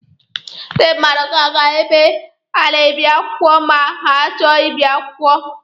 Ndị mmadụ ga-aga ebe a na-ebi akwụkwọ ma ha chọọ ibi akwụkwọ.